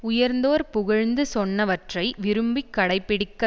உயர்ந்தோர் புகழ்ந்து சொன்னவற்றை விரும்பிக் கடைப்பிடிக்க